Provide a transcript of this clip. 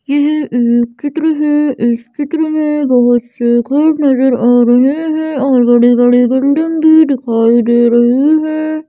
यह एक चित्र है इस चित्र में बहुत से घर नजर आ रहे हैं और बड़ी बड़ी बिल्डिंग भी दिखाई दे रहा है।